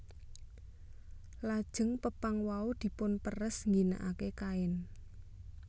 Lajeng pepang wau dipunperes ngginakaken kain